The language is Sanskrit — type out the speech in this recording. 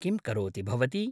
किं करोति भवती?